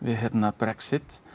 Brexit